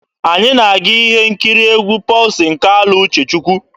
Anyị na-aga ihe nkiri egwu Pọlsin Kalụ Uchechukwu.